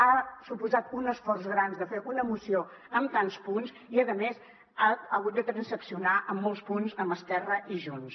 ha suposat un esforç gran fer una moció amb tants punts i a més s’ha hagut de transaccionar en molts punts amb esquerra i junts